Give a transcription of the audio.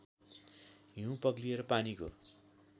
हिउँ पग्लिएर पानीको